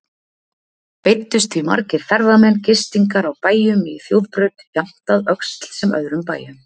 Beiddust því margir ferðamenn gistingar á bæjum í þjóðbraut, jafnt að Öxl sem öðrum bæjum.